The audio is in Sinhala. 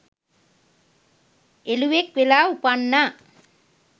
එළුවෙක් වෙලා උපන්නා.